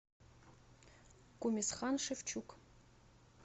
кумисхан шевчук